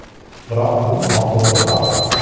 Biroq bu noto‘g‘ri qaror!